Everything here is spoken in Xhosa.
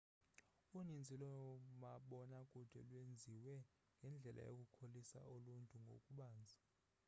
uninzi loomabona kude lwenziwe ngendlela yokukholisa uluntu ngokubanzi